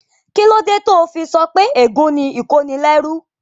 Kíló dé tó o fi sọ pé ègún ni ìkónilẹ́rú?